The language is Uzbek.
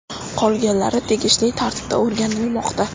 Qolganlari tegishli tartibda o‘rganilmoqda.